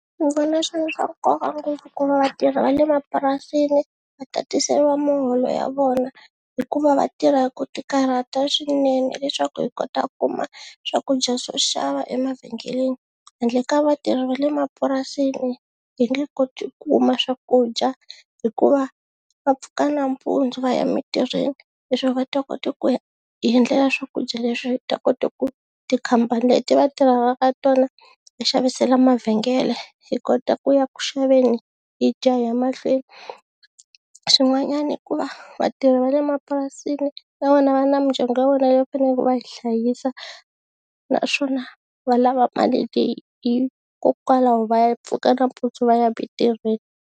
Ni vona swi ri swa nkoka ngopfu ku va vatirhi va le mapurasini va tatiseliwa muholo ya vona hikuva va tirha hi ku tikarhata swinene leswaku hi kota ku kuma swakudya swo xava emavhengeleni, handle ka vatirhi va le mapurasini hi nge koti kuma swakudya hikuva va pfuka nampundzu va ya emitirhweni leswaku va ta kota ku hi endlela swakudya leswi ta kota ku tikhampani leti va tirhelaka tona ti xavisela mavhengele hi kota ku ya ku xaveni hi dya hi ya mahlweni, swin'wanyana i ku va vatirhi va le mapurasini na vona va na mindyangu ya vona leyi va faneleke va yi hlayisa naswona va lava mali leyi hikokwalaho va pfuka nampundzu va ya mintirhweni.